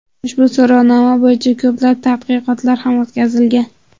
Ushbu so‘rovnoma bo‘yicha ko‘plab tadqiqotlar ham o‘tkazilgan.